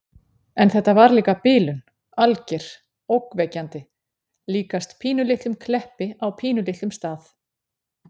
En þetta var líka bilun. alger. ógnvekjandi. líkast pínulitlum Kleppi á pínulitlum stað.